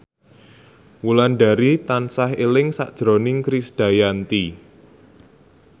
Wulandari tansah eling sakjroning Krisdayanti